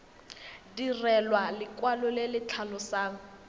direlwa lekwalo le le tlhalosang